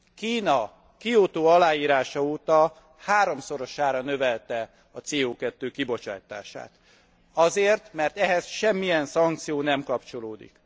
Kína Kiotó aláírása óta háromszorosára növelte a CO 2 kibocsátását azért, mert ehhez semmilyen szankció nem kapcsolódik.